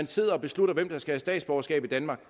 sidder og beslutter hvem der skal have statsborgerskab i danmark